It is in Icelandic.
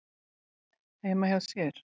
heima hjá sér.